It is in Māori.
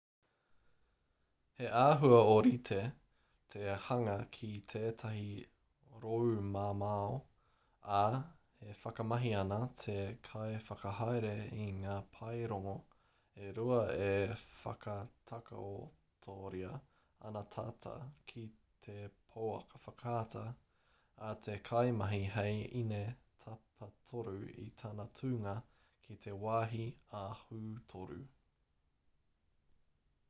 he āhua ōrite te hanga ki tētahi roumamao ā e whakamahi ana te kaiwhakahaere i ngā paerongo e rua e whakatakotoria ana tata ki te pouaka whakaata a te kaimahi hei ine tapatoru i tana tūnga ki te wāhi ahu-toru